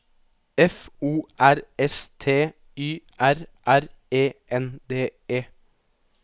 F O R S T Y R R E N D E